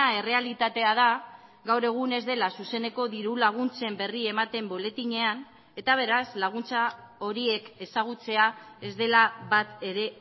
errealitatea da gaur egun ez dela zuzeneko diru laguntzen berri ematen boletinean eta beraz laguntza horiek ezagutzea ez dela bat ere